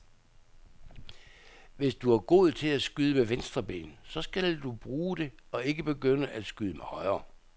Hvis du er god til at skyde med venstre ben, så skal du bruge det og ikke begynde at skyde med højre.